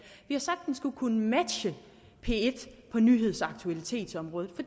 den skulle kunne matche p en på nyheds og aktualitetsområdet